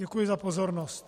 Děkuji za pozornost.